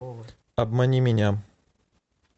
обмани меня